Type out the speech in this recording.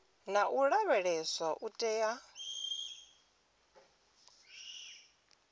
na u lavheleswa u tea